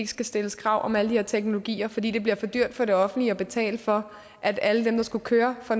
skal stilles krav om alle de her teknologier fordi det bliver for dyrt for det offentlige at betale for at alle dem der skulle køre for